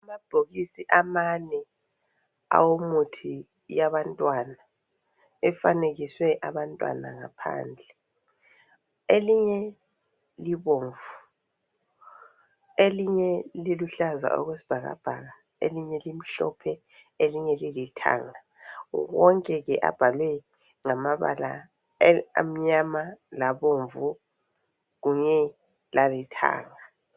Amabhokisi amane awomuthi wabantwana efanekiswe abantwana ngaphandle. Elinye libomvu elinye liluhlaza okwesibhakabhaka, elinye limhlophe elinye lilithanga. Wonke abhalwe ngamabala amnyama labomvu kunye lalithanga.